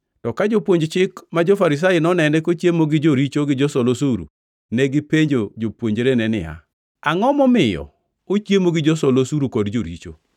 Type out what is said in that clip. To ka jopuonj Chik ma jo-Farisai nonene kochiemo gi joricho gi josol osuru, negipenjo jopuonjrene niya, “Angʼo momiyo ochiemo gi josol osuru kod joricho?”